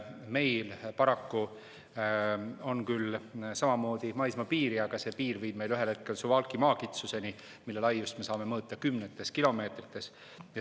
Meil on küll samamoodi maismaapiir, aga see piir viib meid ühel hetkel paraku Suwałki maakitsuseni, mille laiust me saame mõõta kümnetes kilomeetrites.